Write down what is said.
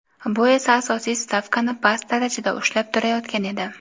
bu esa asosiy stavkani past darajada ushlab turayotgan edi.